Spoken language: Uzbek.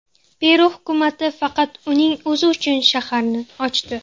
Peru hukumati faqat uning o‘zi uchun shaharni ochdi.